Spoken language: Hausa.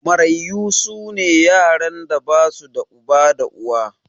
Mararyu su ne yaran da ba su da uba da uwa.